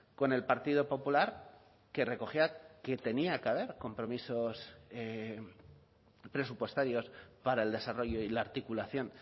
con el partido popular que recogía que tenía que haber compromisos presupuestarios para el desarrollo y la articulación